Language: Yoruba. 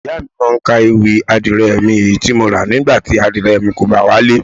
Ìyá mi máa ń ka ewì "adìẹ mi, èyí tí mo ra, nígbà tí adìẹ rẹ kò bá wálé.